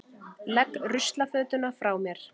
Legg ruslafötuna frá mér.